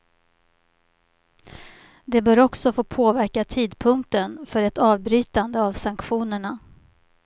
Det bör också få påverka tidpunkten för ett avbrytande av sanktionerna.